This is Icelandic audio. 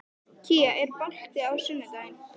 Kía, er bolti á sunnudaginn?